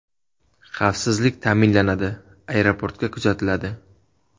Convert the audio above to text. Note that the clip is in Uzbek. Xavfsizlik ta’minlanadi, aeroportga kuzatiladi”.